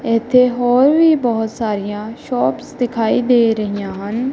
ਇਥੇ ਹੋਰ ਵੀ ਬਹੁਤ ਸਾਰੀਆਂ ਸ਼ੋਪਸ ਦਿਖਾਈ ਦੇ ਰਹੀਆਂ ਹਨ।